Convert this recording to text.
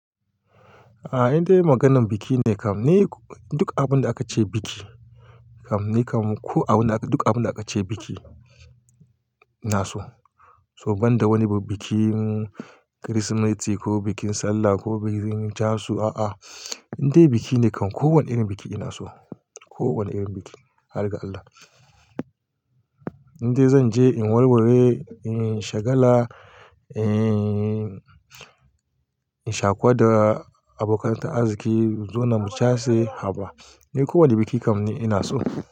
Ah inde maganan bikine kam ni duk abunda akace biki kam nikam ko abunda duk abunda akace biki inaso. To banda wani bikin Kirsimeti ko bikin Sallah ko bikin casu a'a inda biki ne kam ko wane irin biki ina so, ko wane irin biki har ga Allah. Inda zan je in warware, in shagala, in sha kuwa da abokan ta arziki, mu zuna mu case haba Ni ko wane biki kam ni ina so.